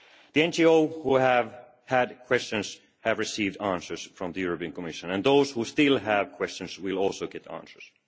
The NGOs which had questions have received answers from the European Commission, and those who still have questions will also get answers.